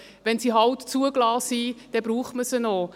Wenn sie halt zugelassen sind, dann braucht man sie auch.